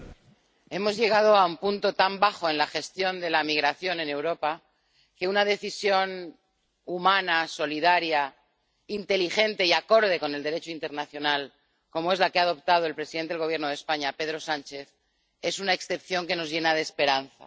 Señora presidenta, hemos llegado a un punto tan bajo en la gestión de la migración en Europa que una decisión humana, solidaria, inteligente y acorde con el Derecho internacional, como es la que ha adoptado el presidente del Gobierno de España, Pedro Sánchez, es una excepción que nos llena de esperanza.